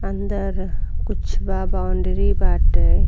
अंदर कुछ बा बॉउंड्री बाटे।